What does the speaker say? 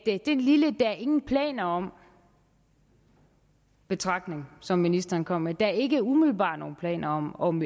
er den lille der er ingen planer om betragtning som ministeren kom med der ikke umiddelbart er nogen planer om om